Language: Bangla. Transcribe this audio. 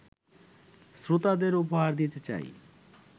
শ্রোতাদের উপহার দিতে চাই